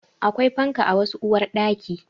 Akwai fanka a wasu uwarɗaki